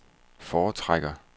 foretrækker